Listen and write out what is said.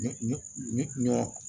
Ɲɔ